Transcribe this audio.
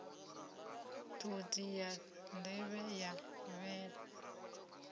ṱhodzi ya nḓevhe ya vhele